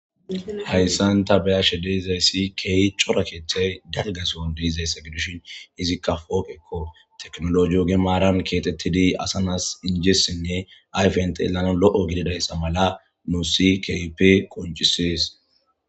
Haysan be'ashe de'iza sohoy Keehi cora kethayi dalgason de'izaysa gidishn izika pooqeko, tekinoloje oge maran kexetid asa nas injesinne ayfen xelanawu lo'o gididaysa mala nuusi keehippe qoncises.